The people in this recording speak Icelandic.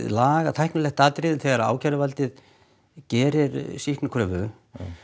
lagalega tæknilegt atriði þegar ákæruvaldið gerir sýknukröfu